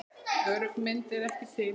Örugg mynd er ekki til.